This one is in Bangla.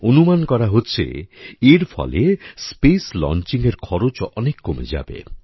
অনুমান করা হচ্ছে এর ফলে স্পেস Launchingএর খরচ অনেক কমে যাবে